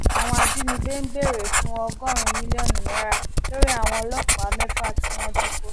àwọn ajínigbé ń béèrè fún fún ọgọrùnún mílíọnù náírà lórí àwọn ọlọpàá mẹfà tí wọn jí kó